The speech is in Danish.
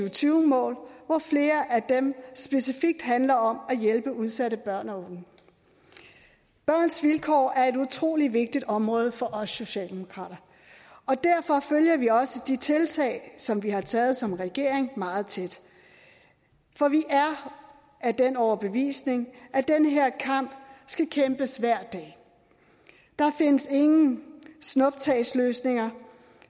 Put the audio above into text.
og tyve mål hvor flere af dem specifikt handler om at hjælpe udsatte børn og unge børns vilkår er et utrolig vigtigt område for os socialdemokrater og derfor følger vi også de tiltag som vi har taget som regering meget tæt for vi er af den overbevisning at den her kamp skal kæmpes hver dag der findes ingen snuptagsløsninger